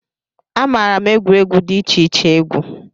Amaara m egwuregwu dị iche iche egwu